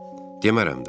Demərəm də.